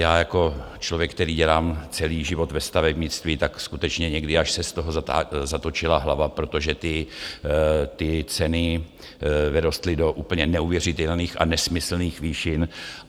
Já jako člověk, který dělám celý život ve stavebnictví, tak skutečně někdy až se z toho zatočila hlava, protože ty ceny vyrostly do úplně neuvěřitelných a nesmyslných výšin.